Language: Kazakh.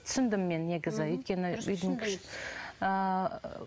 түсіндім мен негізі өйткені үйдің кішісі ыыы